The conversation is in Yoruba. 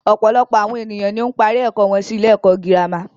Ọ̀pọ̀lọpọ̀ àwọn ènìyàn ni ó ń parí ẹ̀kọ́ wọn sí ilé ẹ̀kọ́ gírámà.